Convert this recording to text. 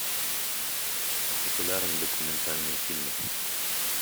популярные документальные фильмы